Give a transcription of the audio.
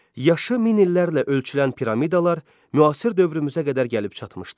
Yaşı min illərlə ölçülən piramidalar müasir dövrümüzə qədər gəlib çatmışdır.